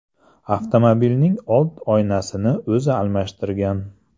Avtomobilning old oynasini o‘zi almashtirgan.